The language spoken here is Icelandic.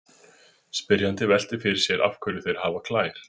Spyrjandi veltir fyrir sér af hverju þeir hafi klær.